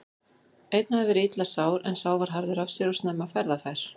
Einn hafði verið illa sár en sá var harður af sér og snemma ferðafær.